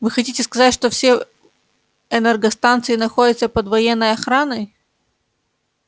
вы хотите сказать что все энергостанции находятся под военной охраной